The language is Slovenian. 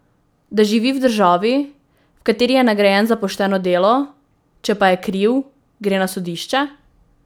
Da živi v državi, v kateri je nagrajen za pošteno delo, če pa je kriv, gre na sodišče?